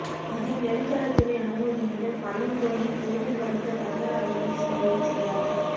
இதில் நெடுஞ்சாலை துறைஅனுமதியுடன் பள்ளம் தோண்டி கேபிள் பதித்த தனியார் அலைபேசி நிறுவனம் சரியாக